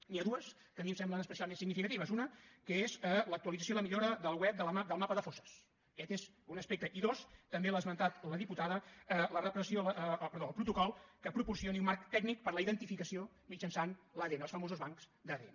n’hi ha dues que a mi em semblen especialment significatives una que és l’actualització i la millora del web del mapa de fosses aquest és un aspecte i dos també l’ha esmentat la diputada el protocol que proporcioni un marc tècnic per a la identificació mitjançant l’adn els famosos bancs d’adn